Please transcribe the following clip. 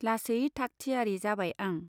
लासै थाकथियारी जाबाय आं।